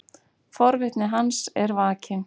Forvitni hans er vakin.